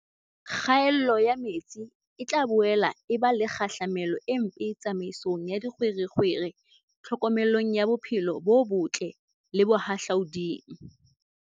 Kgaello ya metsi e tla boela e ba le kgahlamelo e mpe tsamaisong ya dikgwerekgwere, tlhokomelong ya bophelo bo botle le bohahlaoding.